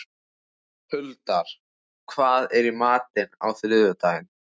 Huldar, hvað er í matinn á þriðjudaginn?